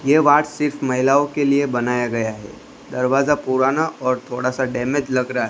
ये वार्ड सिर्फ महिलाओं के लिए बनाया गया हैं दरवाजा पुराना और थोड़ा सा डैमेज लग रहा हैं।